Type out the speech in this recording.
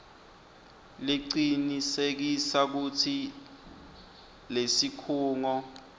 lecinisekisa kutsi lesikhungo